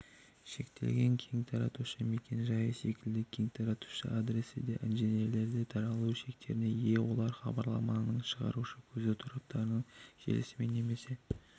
шектелген кеңтаратушы мекен-жайы секілді кеңтаратушы адресі де интержеліде таралу шектеріне ие олар хабарламаның шығарушы көзі тораптың желісімен немесе